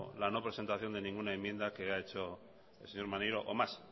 la no presentación de ninguna enmienda que ha hecho el señor maneiro o más